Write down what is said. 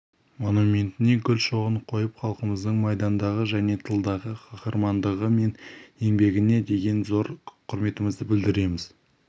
монументіне гүл шоғын қойып халқымыздың майдандағы және тылдағы қаһармандығы мен еңбегіне деген зор құрметімізді білдіреміз